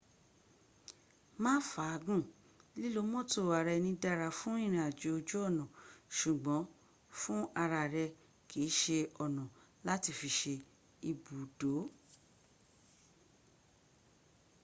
má fàá gùn lilo mọ́́tò ara eni dara fún irin ajo oju ona ṣùgbọ́́n fún ara re kii se ona lati fi se ibud.